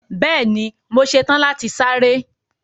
Bẹẹni, mọ sẹ́tan láti sárẹ̀.